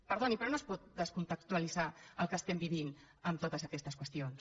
perdoni però no es pot descontextualitzar el que vivim de totes aquestes qüestions